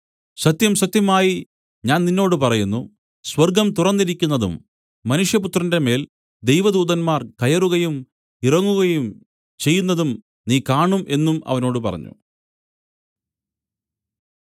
സത്യം സത്യമായി ഞാൻ നിന്നോട് പറയുന്നു സ്വർഗ്ഗം തുറന്നിരിക്കുന്നതും മനുഷ്യപുത്രന്റെമേൽ ദൈവദൂതന്മാർ കയറുകയും ഇറങ്ങുകയും ചെയ്യുന്നതും നീ കാണും എന്നും അവനോട് പറഞ്ഞു